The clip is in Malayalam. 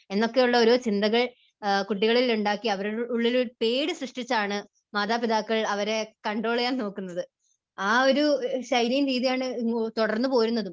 എന്നൊക്കെയുള്ള ഓരോ ചിന്തകൾ കുട്ടികളിൽ ഉണ്ടാക്കി അവരുടെ ഉള്ളിൽ ഒരു പേടി സൃഷ്ടിച്ചാണ് മാതാപിതാക്കൾ അവരെ കണ്ട്രോൾ ചെയ്യാൻ നോക്കുന്നത്. ആ ഒരു ശൈലിയും രീതിയുമാണ് തുടർന്നു പോരുന്നതും.